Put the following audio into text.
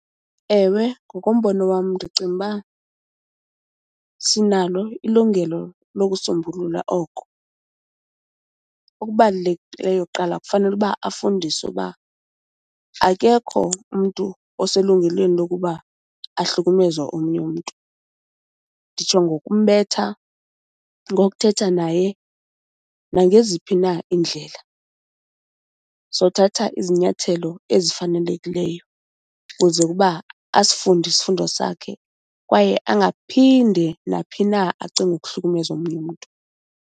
Ewe, ngokombono wam ndicinga uba sinalo ilungelo lokusombulula oko. Okubalulekileyo kuqala kufanele uba afundiswe uba akekho umntu oselungelweni lokuba ahlukumeze omnye umntu. Nditsho ngokumbetha, ngokuthetha naye, nangeziphi na iindlela. Sothatha izinyathelo ezifanelekileyo kuze ukuba asifunde isifundo sakhe kwaye angaphinde naphi na acinge ukuhlukumeza omnye umntu.